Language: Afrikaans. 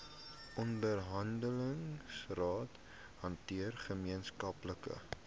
onderhandelingsrade hanteer gemeenskaplike